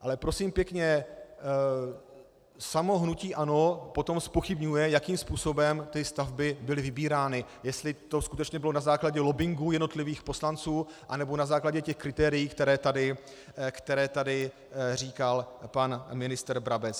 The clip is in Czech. Ale prosím pěkně, samo hnutí ANO potom zpochybňuje, jakým způsobem ty stavby byly vybírány, jestli to skutečně bylo na základě lobbingu jednotlivých poslanců, anebo na základě těch kritérií, která tady říkal pan ministr Brabec.